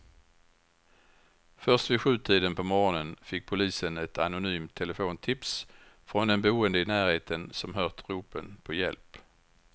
Först vid sjutiden på morgonen fick polisen ett anonymt telefontips från en boende i närheten som hört ropen på hjälp.